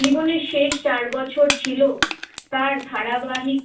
জীবনের শেষ চার বছর ছিল তার ধারাবাহিক